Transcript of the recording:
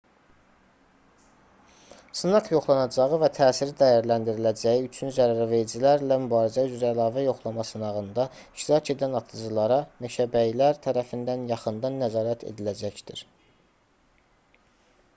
sınaq yoxlanacağı və təsiri dəyərləndiriləcəyi üçün zərəvericilərlə mübarizə üzrə əlavə yoxlama sınağında iştirak edən atıcılara meşəbəyilər tərəfindən yaxından nəzarət ediləcəkdir